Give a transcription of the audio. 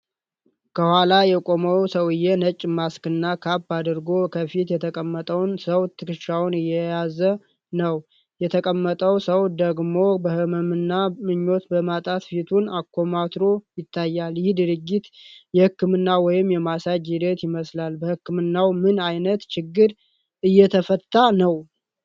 ከኋላ የቆመው ሰውዬ ነጭ ማስክና ካፕ አድርጎ፣ ከፊት የተቀመጠውን ሰው ትከሻዎች እየያዘ ነው። የተቀመጠው ሰው ደግሞ በህመምና ምቾት በማጣት ፊቱን አኮማትሮ ይታያል። ይህ ድርጊት የሕክምና ወይም የማሳጅ ሂደት ይመስላል፤ በህክምናው ምን አይነት ችግር እየተፈታ ይሆን?